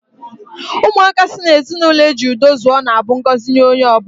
Ụmụaka si n'ezinụlọ ejiri udo zụọ na-abụ ngọzi nye onye ọ bụla.